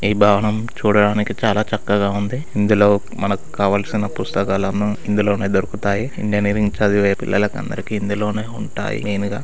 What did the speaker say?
ఈ భవనం చూడడానికి చాలా చక్కగా ఉంది. ఇందులో మనకి కావాల్సిన పుస్తకాలు అను ఇందులోనే దొరుకుతాయి. ఇంజనీరింగ్ చదివే పిల్లలకి అందరికీ ఇందులోనే ఉంటాయి. మెయిన్